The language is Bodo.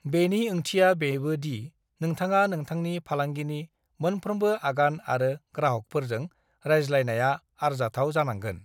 बेनि ओंथिया बेबो दि नोंथाङा नोंथांनि फालांगिनि मोनफ्रोमबो आगान आरो ग्राहकफोरजों रायज्लायनाया आरजाथाव जानांगोन।